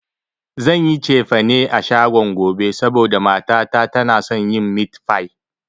Zan yi cefane a shagon gobe, saboda mata ta tana son yin mit fai